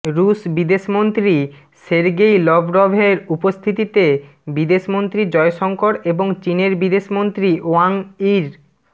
রুশ বিদেশমন্ত্রী সের্গেই লভরভের উপস্থিতিতে বিদেশমন্ত্রী জয়শঙ্কর এবং চিনের বিদেশমন্ত্রী ওয়াং ইর